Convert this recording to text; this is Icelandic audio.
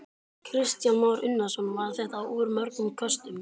Kristján Már Unnarsson: Var þetta úr mörgum köstum?